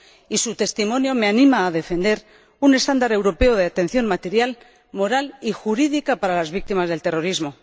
Y su testimonio me anima a defender un estándar europeo de atención material, moral y jurídica para las víctimas del terrorismo.